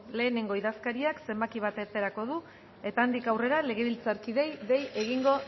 lehenengo idazkariak zenbaki bat aterako du eta handik aurrera legebiltzarkideei dei egingo